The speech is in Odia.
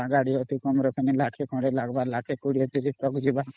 ପଡିବା ଗାଡି ଅତି କମ ରେ ପୁଣି ଲକ୍ଷେ ଖଣ୍ଡେ ଲଗଵ ଲକ୍ଷେ 2030 ଖଣ୍ଡେ ଯିବା